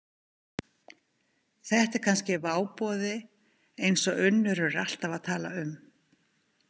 Þetta er kannski váboði eins og Unnur er alltaf að tala um.